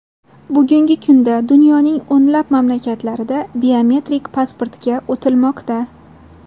Bugungi kunda dunyoning o‘nlab mamlakatlarida biometrik pasportga o‘tilmoqda.